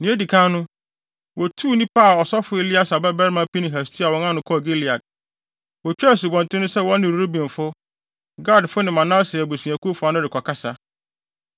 Nea edi kan no, wotuu nnipa a ɔsɔfo Eleasar babarima Pinehas tua wɔn ano kɔɔ Gilead. Wotwaa asubɔnten no sɛ wɔne Rubenfo, Gadfo ne Manase abusuakuw fa no rekɔkasa.